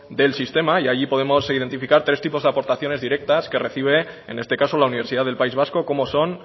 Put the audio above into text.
del sistema y allí podemos identificar tres tipos de aportaciones directas que recibe en este caso la universidad del país vasco como son